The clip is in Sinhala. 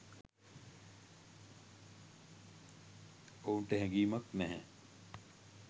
ඔවුන්ට හැගීමක් නැහැ